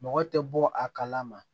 Mɔgɔ tɛ bɔ a kalama